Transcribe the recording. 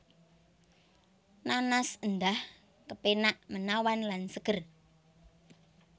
Nanas endah kepenak menawan lan seger